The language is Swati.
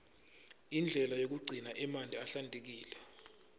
indlela yekugcina emanti ahlantekile